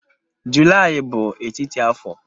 Julaị bụ etiti afọ.